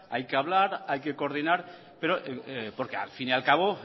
hay que hablar hay que coordinar pero porque al fin y al cabo